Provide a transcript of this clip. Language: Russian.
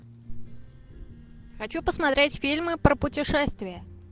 хочу посмотреть фильмы про путешествия